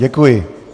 Děkuji.